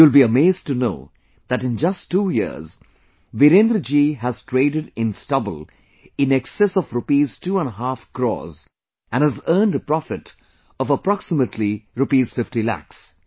You will be amazed to know that in just two years, Virendra ji has traded in stubble in excess of Rupees Two and a Half Crores and has earned a profit of approximately Rupees Fifty Lakhs